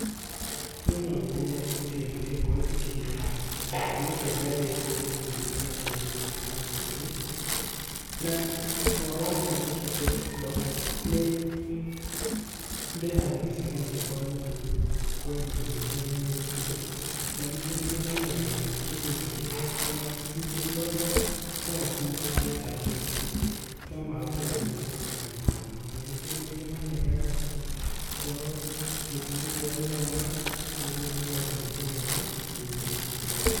Niĩ no nyende ciana ciakwa cikinye gĩthomo kĩa ngathĩ ya igũrũ mũno kana kĩa yunibacĩtĩ na ũhoro ũcio njĩkĩte tonũ nĩ ndĩhagĩra ciana ciakwa thukuru kwa ihinda rĩrĩa rĩagĩrĩire, na ningi nĩ ndĩmaigagĩra kĩgĩna kĩrĩa ona ingĩ korwo no hurũke ta thaa ici no mahote gũthiĩ na mbere na gĩthomo. Ona ningĩ nĩ ndĩmaheaga ũhoro, gĩtumi gia gũthoma, ũguo nĩgetha makagĩa na kĩo makĩria.